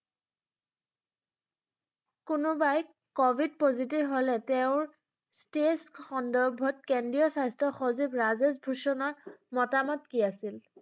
কোনোবাই covid positive হলে তেঁওৰ stage সন্দৰ্ভত কেন্দ্ৰীয় স্বাস্থ্য সচিব ৰাজেশ ভূষণৰ মতামত কি আছিল?